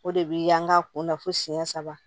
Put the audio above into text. O de bi an ga kunna fo siyɛn saba